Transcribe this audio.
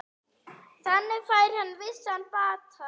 Þannig fær hann vissan bata.